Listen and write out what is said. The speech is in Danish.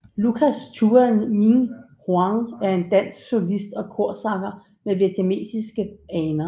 Lucas Tuan Minh Hoang er en dansk solist og korsanger med vietnamesiske aner